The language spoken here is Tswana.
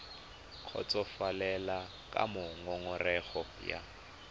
kgotsofalele ka moo ngongorego ya